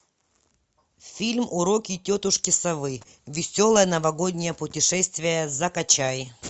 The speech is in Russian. фильм уроки тетушки совы веселое новогоднее путешествие закачай